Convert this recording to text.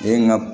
E ye n ga